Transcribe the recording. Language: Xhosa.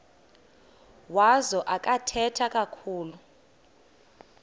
wazo akathethi kakhulu